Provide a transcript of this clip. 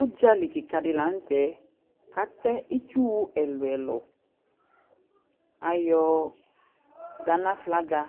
Ʊɖzali kɩka la nʊtɛ Atɛ ɩtsu ɛlʊɛlʊ Ayɔ Ghana flaga